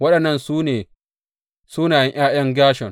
Waɗannan su ne sunayen ’ya’yan Gershom.